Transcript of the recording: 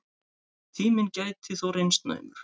Tíminn gæti þó reynst naumur.